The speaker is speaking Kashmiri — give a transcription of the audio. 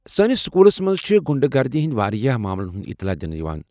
سٲنس سکولس منٛز چھ غنڈٕ گردی ہنٛدۍ واریاہ ماملن ہُند اطلاع دِنہٕ یوان ۔